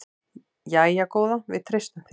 Jæja góða, við treystum þér.